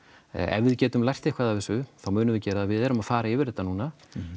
ef við getum lært eitthvað af þessu þá munum við gera það við erum að fara yfir þetta núna